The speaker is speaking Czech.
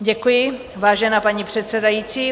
Děkuji, vážená paní předsedající.